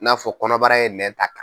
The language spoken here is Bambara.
N'a fɔ kɔnɔbara ye nɛn ta.